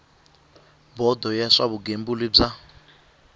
bodo ya swa vugembuli bya